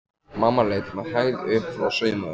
Mamma leit með hægð upp frá saumavélinni.